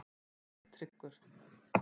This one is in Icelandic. Sigtryggur